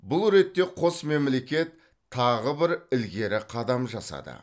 бұл ретте қос мемлекет тағы бір ілгері қадам жасады